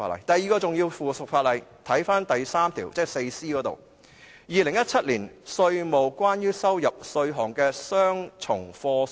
第二項重要的附屬法例是《2017年稅務令》——又是一項公告。